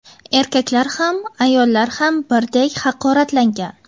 Erkaklar ham, ayollar ham birdek haqoratlangan.